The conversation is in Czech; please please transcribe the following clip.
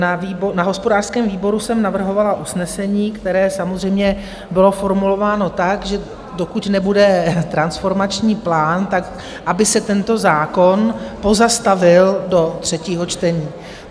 Na hospodářském výboru jsem navrhovala usnesení, které samozřejmě bylo formulováno tak, že dokud nebude transformační plán, tak aby se tento zákon pozastavil do třetího čtení.